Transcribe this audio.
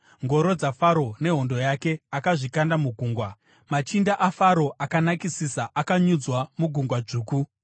Ngoro dzaFaro nehondo yake akazvikanda mugungwa. Machinda aFaro akanakisisa akanyudzwa muGungwa Dzvuku.